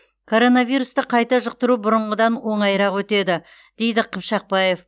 коронавирусты қайта жұқтыру бұрынғыдан оңайырақ өтеді дейді қыпшақбаев